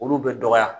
Olu bɛ dɔgɔya